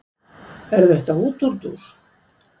Er þetta útúrdúr?